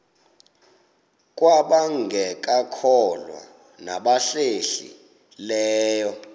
kwabangekakholwa nabahlehli leyo